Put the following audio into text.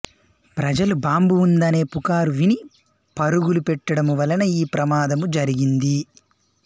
ప్రజలు బాంబు ఉందనే పుకారు విని పరుగులు పెట్టడము వలన యీ ప్రమాదము జరిగింది